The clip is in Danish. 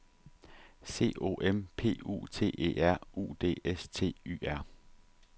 C O M P U T E R U D S T Y R